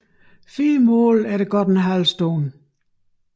Fire mål efter en god halv time